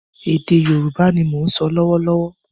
Ède Yorùbá ni mò ń so lọ́wọ́ lọ́wọ́